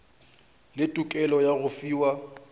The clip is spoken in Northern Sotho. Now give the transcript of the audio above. le tokelo ya go fiwa